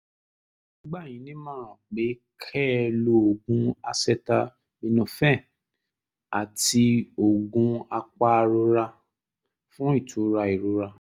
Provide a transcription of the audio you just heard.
màá gbà yín nímọ̀ràn pé kẹ́ ẹ lo oògùn acetaminophen àti oògùn apàrora fún ìtura ìrora